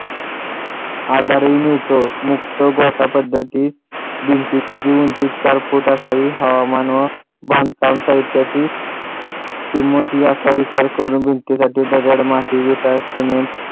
आधार ही नव्हतं नुसतं गोठा पद्धती भिंतींची उंची चार फूट असावी हवामान व बांधकाम करण्याची किंमत याचा विचार करून दगड माती विटा सिमेंट